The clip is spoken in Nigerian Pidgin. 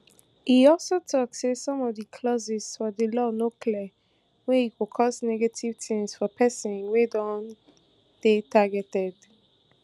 e also tok say some of di clauses for di law no clear wey e go cause negative tins for pesin wia don dey targeted